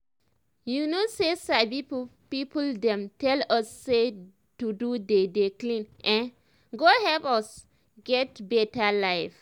small small ways like make pesin dey put mind to dey dey clean e go really help for him life